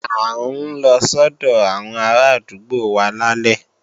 À ń lọ sọ́dọ̀ àwọn arádúgbò wa lálẹ́